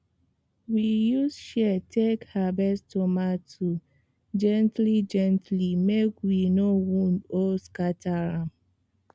we use shears take harvest tomato gentlygently make we no wound or scatter am